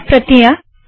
चार प्रतियाँ